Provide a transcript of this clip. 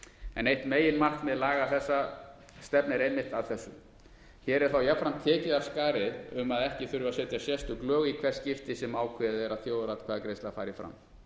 en eitt meginmarkmið laga þessara stefnir einmitt að þessu hér er þá jafnframt tekið af skarið um að ekki þurfi að setja sérstök lög í hvert skipti sem ákveðið er að þjóðaratkvæðagreiðsla fari fram